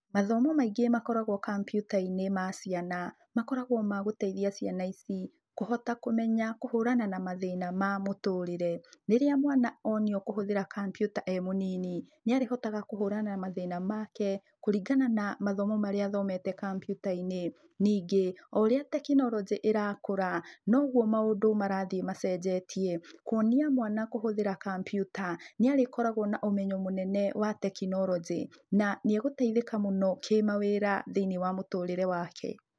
Mathomo maingĩ makoragwo kambiuta-inĩ ma ciana, makoragwo ma gũteithia ciana ici kũhota kũmenya kũhũrana na mathĩna ma mũtũrĩre. Rĩrĩa mwana onio kũhũthĩra kambiuta e mũnini, nĩarĩhotaga kũhũrana na mathĩna make kũringana na mathomo marĩa athomete kambiuta-inĩ. Ningĩ, oũrĩa tekinoronjĩ ĩrakũra, noguo maũndũ marathiĩ macenjetie. Kuonia mwana kũhũthĩra kambiuta, nĩarĩkoragwo na ũmenyo mũnene wa tekinoronjĩ na nĩegũteithĩka mũno kĩmawĩra thĩiniĩ wa mũtũrĩre wake.